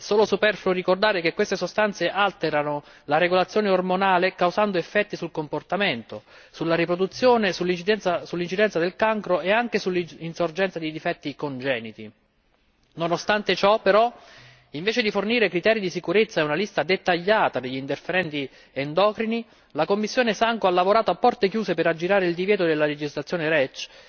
È solo superfluo ricordare che queste sostanze alterano la regolazione ormonale, causando effetti sul comportamento, sulla riproduzione, sull'incidenza del cancro e anche sull'insorgenza di difetti congeniti. Nonostante ciò, invece di fornire i criteri di sicurezza e una lista dettagliata degli interferenti endocrini, la DG SANCO ha lavorato a porte chiuse per aggirare il divieto della legislazione REACH,